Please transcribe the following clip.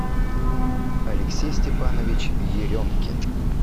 алексей степанович еремкин